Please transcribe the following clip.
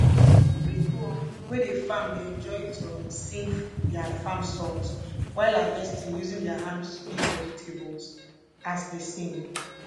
people um wey dey farm dey enjoy to um sing their farm songs while harvesting using their hands to pick vegetables as they sing